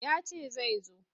Ya ce zai zo.